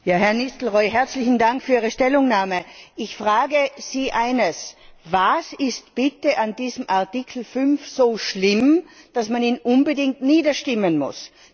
Herr van Nistelrooij, herzlichen Dank für Ihre Stellungnahme! Ich frage Sie eines Was ist bitte an diesem Artikel 5 so schlimm, dass man ihn unbedingt niederstimmen muss?